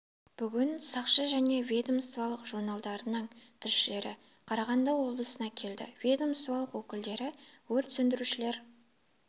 бүгін сақшы және ведомстволық журналдарының тілшілері қарағанды облысына келді ведомстволық өкілдері өрт сөндірушілер